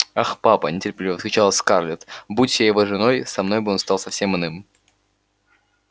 ах папа нетерпеливо вскричала скарлетт будь я его женой со мной он стал бы совсем иным